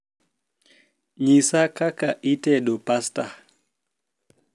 nyisa kaka itedo pasta